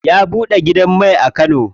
Ya buɗe gidan mai a kano.